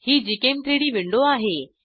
ही gchem3डी विंडो आहे